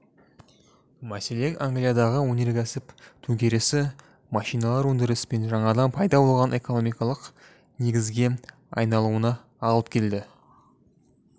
мәселен англиядағы өнеркәсіп төңкерісі машиналы өндіріс пен жаңадан пайда болған экономикалық негізге айналуына алып келді